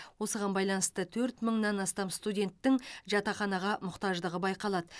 осыған байланысты төрт мыңнан астам студенттің жатақханаға мұқтаждығы байқалады